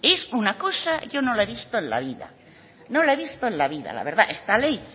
es una cosa yo no la he visto en la vida no la he visto en la vida la verdad esta ley